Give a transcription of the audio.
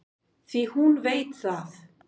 Því hún veit það.